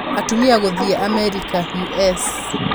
Atumia Gũthiĩ Amerika (US)